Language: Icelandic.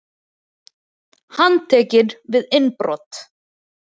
Handtekinn við innbrot